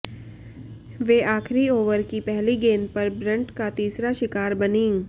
वे आखिरी ओवर की पहली गेंद पर ब्रंट का तीसरा शिकार बनीं